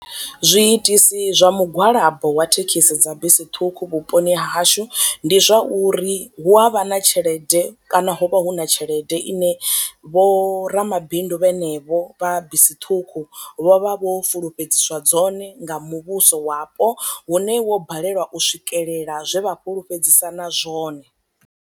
Zwi itisi zwa mugwalabo wa thekhisi dza bisi ṱhukhu vhuponi hashu ndi zwauri hu avha na tshelede kana ho vha hu na tshelede ine vho ra mabindu vhene vho vha bisi ṱhukhu vho vha vho fulufhedziswa dzone nga muvhuso wapo hune wo balelwa u swikelela zwe vha fulufhedzisana zwone.